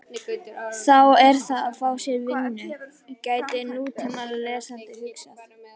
Þá er að fá sér vinnu, gæti nútímalesandi hugsað.